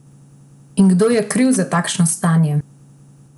In kdo je kriv za takšno stanje?